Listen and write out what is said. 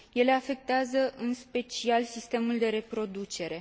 Ele afectează în special sistemul de reproducere.